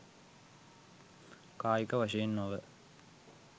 කායික වශයෙන් නොව